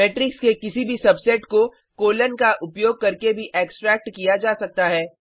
matrix के किसी भी सबसेट को कोलन का उपयोग करके भी एक्सट्रैक्ट किया जा सकता है